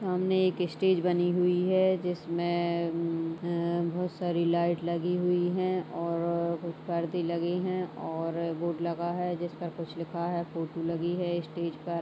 सामने एक स्टेज बनी हुई हैं जिसमें बहोत सारी लाइट लगी हुई हैं और कुछ पर्दे लगे हैं और बोर्ड लगा हैं जिस पर कुछ लिखा हैं फोटो लगी हैं स्टेज पर--